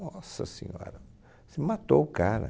Nossa senhora, você matou o cara.